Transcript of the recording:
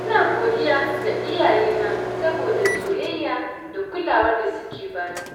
Ina godiya ga iyayena saboda soyayya da kulawar da suke ba ni.